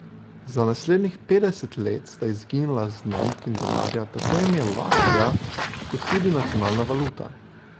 Za naslednjih petdeset let sta izginila z znamk in denarja tako ime Latvija kot tudi nacionalna valuta.